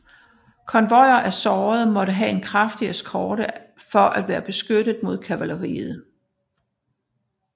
Konvojer af sårede måtte have en kraftig eskort for at være beskyttet mod kavaleriet